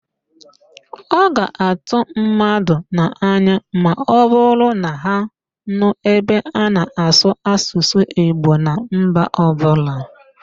Ọ ga-atụ mmadụ n'anya ma ọbụrụ na ha nụ ebe a na-asụ Asụsụ Igbo na mba ọbụla.